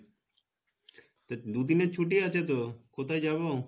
তো দু দিনের ছুটি আছে তো কোথায় যাবো?